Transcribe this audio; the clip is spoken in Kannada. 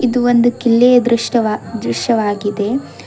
ಇದು ಒಂದ್ ಕಿಲ್ಲಿ ದೃಷ್ಟ ದೃಶ್ಯವಾಗಿದೆ.